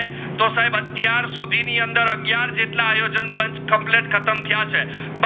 તો સાહેબ આતિયાર સુધી ની અંદર અગિયાર આયોજન પાંચ કોમ્પલેટ ખતમ થયા છે